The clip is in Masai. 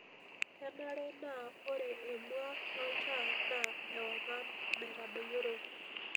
kenare naa ore emua loltaa na ewang'an naitodoyioro